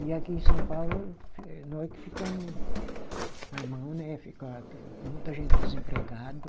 E aqui em São Paulo, eh nós que ficamo na mão né, fica muita gente desempregado.